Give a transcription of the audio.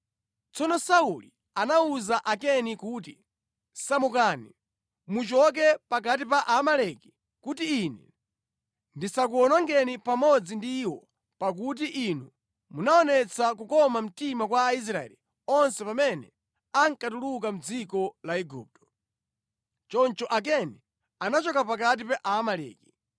Tsono Sauli anawuza Akeni kuti, “Samukani, muchoke pakati pa Aamaleki kuti ine ndisakuwonongeni pamodzi ndi iwo pakuti inu munaonetsa kukoma mtima kwa Aisraeli onse pamene ankatuluka mʼdziko la Igupto,” Choncho Akeni anachoka pakati pa Aamaleki.